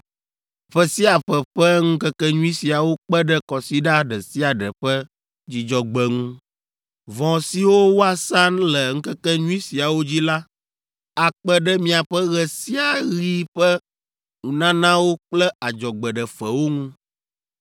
Ƒe sia ƒe ƒe ŋkekenyui siawo kpe ɖe kɔsiɖa ɖe sia ɖe ƒe Dzudzɔgbe ŋu. Vɔ siwo woasa le ŋkekenyui siawo dzi la akpe ɖe miaƒe ɣe sia ɣi ƒe nunanawo kple adzɔgbeɖefewo ŋu.)